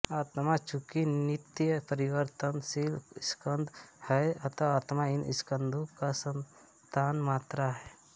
आत्मा चूँकि नित्य परिवर्तनशील स्कंध है अत आत्मा इन स्कंधों की संतानमात्र है